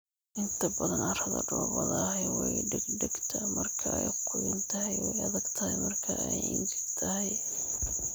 Inta badan carrada dhoobada ahi way dhegtaagtaa marka ay qoyan tahay way adag tahay marka ay engegan tahay.